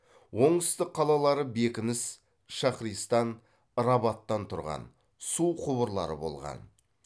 оңтүстік қалалары бекініс шаһристан рабаттан тұрған су құбырлары болған